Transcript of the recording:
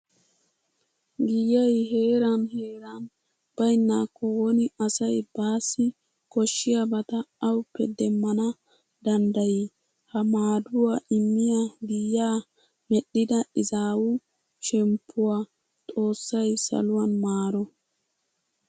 Giyay heeran heeran baynnaakko woni asay baassi koshshiyabata awuppe demmana danddayii! Ha maaduwa immiya giyaa medhdhida izaawu shemppuwa xoossay saluwan maaro.